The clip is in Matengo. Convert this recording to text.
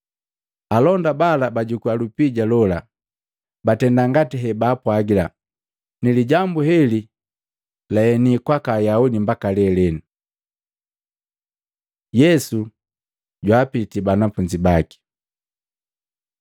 Alonda bala bajukua lupija lola, batenda ngati hebaapwagila. Nilijambu heli laheni kwaka Ayaudi mbaka lelenu. Yesu jwaapiti banafunzi baki Maluko 16:14-18; Luka 24:36-49; Yohana 20:19-23; Mahengu 1:6-8